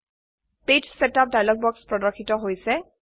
page setup dialog বাক্স প্রদর্শিত হৈছে